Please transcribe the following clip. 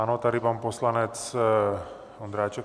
Ano, tady pan poslanec Ondráček.